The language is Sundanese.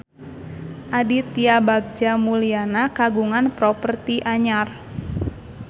Aditya Bagja Mulyana kagungan properti anyar